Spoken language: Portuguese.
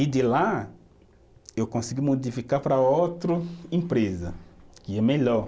E de lá, eu consegui modificar para outro empresa, que é melhor.